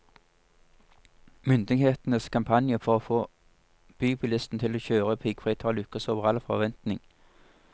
Myndighetenes kampanje for å få bybilistene til å kjøre piggfritt har lykkes over all forventning.